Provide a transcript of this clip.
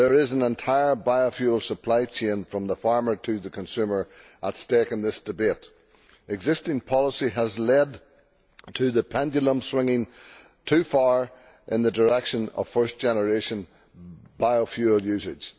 There is an entire biofuel supply chain, from the farmer to the consumer, at stake in this debate. Existing policy has led to the pendulum swinging too far in the direction of first generation biofuel usage.